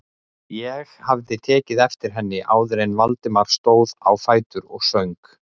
Ég hafði tekið eftir henni áður en Valdimar stóð á fætur og söng.